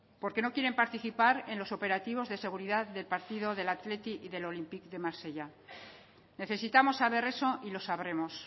porque no quieren participar en los operativos de seguridad del partido del athletic y del olympique de marsella necesitamos saber eso y lo sabremos